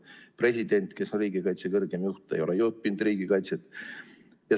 President, kes on riigikaitse kõrgeim juht, ei ole ju õppinud riigikaitset.